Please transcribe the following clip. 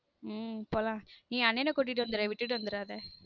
உம் போலாம் நீ அண்ணனை கூட்டிட்டு வந்துரு விட்டுட்டு வந்துறாத